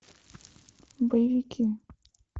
боевики